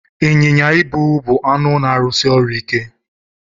Ịnyịnya ibu bụ anụ na-arụsi ọrụ ike.